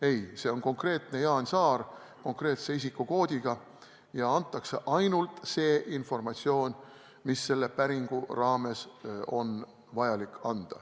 Ei, see on konkreetne Jaan Saar, konkreetse isikukoodiga, ja antakse ainult see informatsioon, mis on selle päringu raames vajalik.